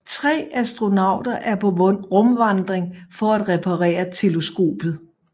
Tre astronauter er på rumvandring for at reparere teleskopet